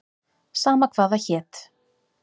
Sama hvað það hét.